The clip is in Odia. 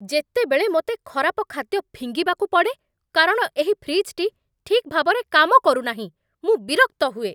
ଯେତେବେଳେ ମୋତେ ଖରାପ ଖାଦ୍ୟ ଫିଙ୍ଗିବାକୁ ପଡ଼େ କାରଣ ଏହି ଫ୍ରିଜ୍‌‌ଟି ଠିକ୍ ଭାବରେ କାମ କରୁନାହିଁ, ମୁଁ ବିରକ୍ତ ହୁଏ!